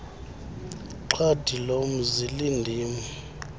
xhadi lomzi lindim